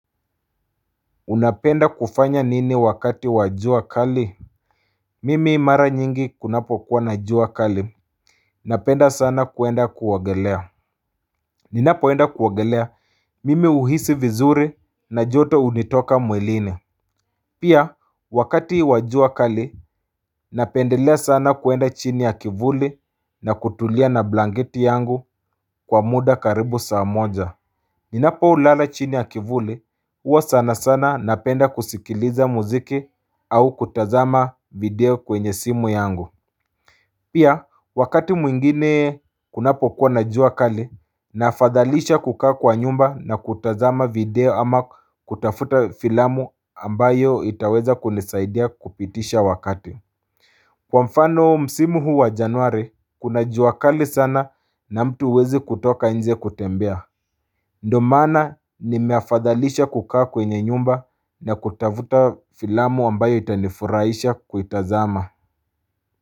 Unapenda kufanya nini wakati wa jua kali? Mimi mara nyingi kunapo kuwa na jua kali Napenda sana kuenda kuogelea Ninapoenda kuogelea mimi uhisi vizuri na joto unitoka mwilini Pia wakati wajua kali napendelea sana kuenda chini ya kivuli na kutulia na blangeti yangu kwa muda karibu saa moja Ninapolala chini ya kivuli huwa sana sana napenda kusikiliza muziki au kutazama video kwenye simu yangu Pia wakati mwingine kunapo kuwa na jua kali naafadhalisha kukaa kwa nyumba na kutazama video ama kutafuta filamu ambayo itaweza kunizaidia kupitisha wakati Kwa mfano msimu huu wa januari kuna jua kali sana na mtu uwezi kutoka nje kutembea ndo maana nimeafadhalisha kukaa kwenye nyumba na kutavuta filamu wambayo itanifuraisha kuitazama.